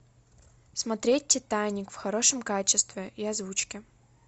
смотреть титаник в хорошем качестве и озвучке